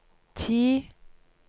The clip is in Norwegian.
ti